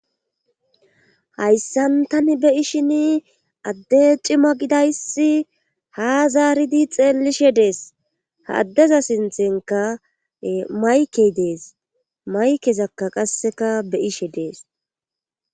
hayssan tani be'ishin adde cima gidayssi ha zaaridi xeellishe dees ha addeza sinthenka maykey dees maykezakka qasseka bey'ishe dees